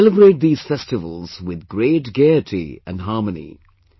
Celebrate these festivals with great gaiety and harmony